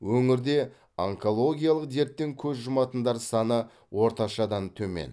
өңірде онкологиялық дерттен көз жұматындар саны орташадан төмен